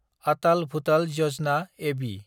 आटाल भुजाल यजना (एबि)